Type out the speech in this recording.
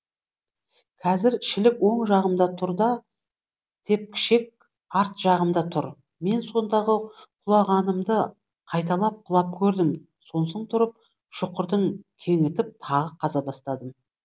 қазір шілік оң жағымда тұр да тепкішек арт жағымда тұр мен сондағы құлағанымды қайталап құлап көрдім сонсоң тұрып шұқырды кеңітіп тағы қаза бастадым